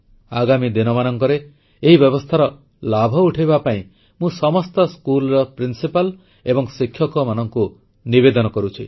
ଆଗାମୀ ଦିନମାନଙ୍କରେ ଏହି ବ୍ୟବସ୍ଥାର ଲାଭ ଉଠାଇବା ପାଇଁ ମୁଁ ସମସ୍ତ ସ୍କୁଲର ପ୍ରିନ୍ସିପାଲ୍ ଏବଂ ଶିକ୍ଷକମାନଙ୍କୁ ନିବେଦନ କରୁଛି